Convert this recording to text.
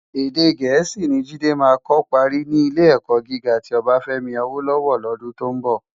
Èdè Gẹẹsi ni Jide má kò pári ni Ilé-èkò gigá ti Obafemi Awolowo lòdún tó n bò.